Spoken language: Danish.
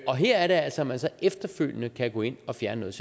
og her er det altså at man så efterfølgende kan gå ind og fjerne